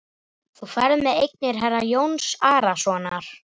Þú ferð með eignir herra Jóns Arasonar.